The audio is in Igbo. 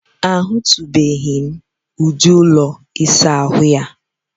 A hụtụbeghị m ụdị ụlọ ịsa ahụ a.